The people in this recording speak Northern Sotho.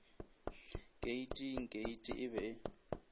keiting keiti e be e